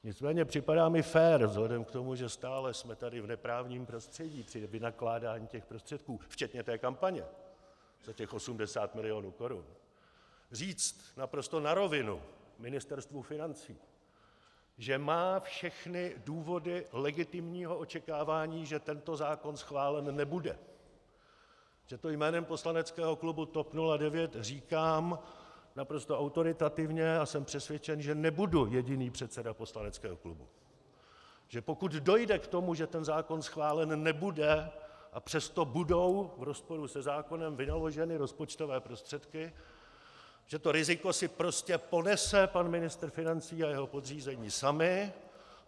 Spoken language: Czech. Nicméně připadá mi fér vzhledem k tomu, že stále jsme tady v neprávním prostředí při vynakládání těch prostředků, včetně té kampaně za těch 80 milionů korun, říct naprosto na rovinu Ministerstvu financí, že má všechny důvody legitimního očekávání, že tento zákon schválen nebude, že to jménem poslaneckého klubu TOP 09 říkám naprosto autoritativně, a jsem přesvědčen, že nebudu jediný předseda poslaneckého klubu, že pokud dojde k tomu, že ten zákon schválen nebude, a přesto budou v rozporu se zákonem vynaloženy rozpočtové prostředky, že to riziko si prostě ponese pan ministr financí a jeho podřízení sami.